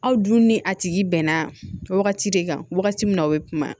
Aw dun ni a tigi bɛnna wagati de kan wagati min na o bɛ kuma